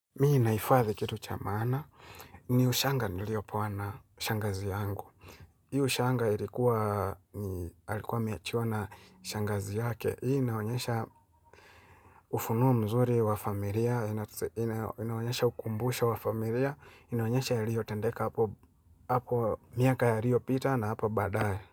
Mimi nahifadhi kitu cha maana, ni ushanga niliopewa na shangazi yangu. Hii ushanga ilikuwa, ni alikuwa ameachiwa na shangazi yake. Hii inaonyesha ufunuo mzuri wa familia, inaonyesha ukumbusho wa familia, inaonyesha yaliyotendeka hapo miaka yaliopita na hapo baadaye.